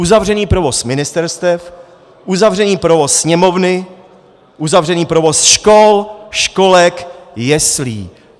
Uzavřený provoz ministerstev, uzavřený provoz Sněmovny, uzavřený provoz škol, školek, jeslí.